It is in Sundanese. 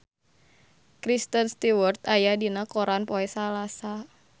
Kristen Stewart aya dina koran poe Salasa